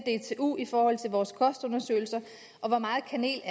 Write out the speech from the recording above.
i forhold til vores kostundersøgelser og hvor meget kanel